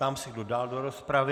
Ptám se, kdo dál do rozpravy.